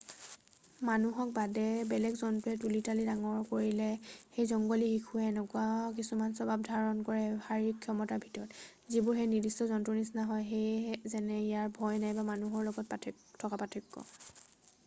মানুহক বাদে বেলেগ জন্তুৱে তুলি তালি ডাঙৰ কৰিলে সেই জংঘলী শিশুৱে এনেকুৱা কিছুমান স্বভাৱ ধাৰণ কৰে শাৰীৰিক ক্ষমতাৰ ভিতৰত যিবোৰ সেই নিৰ্দিষ্ট জন্তুৰ নিচিনা হয়। যেনে ইয়াৰ ভয় নাইবা মানুহৰ লগত থকা পাৰ্থক্য।